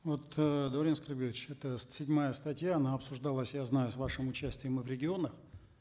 вот э даурен аскербекович эта седьмая статья она обсуждалась я знаю с вашим участием и в регионах